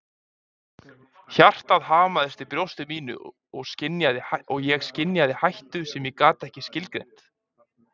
Hjartað hamaðist í brjósti mínu og ég skynjaði hættu sem ég gat ekki skilgreint.